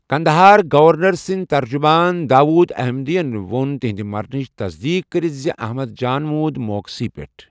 Kandahar governor سنٛدۍ ترجمان داؤد احمدی یَن ووٚن تہنٛدِ مرنٕچ تَصدیٖق کٔرِتھ زِ احمد جان موٗد موقعہٕ سی پٮ۪ٹھ ۔